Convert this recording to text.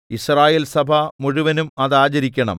യിസ്രായേൽസഭ മുഴുവനും അത് ആചരിക്കണം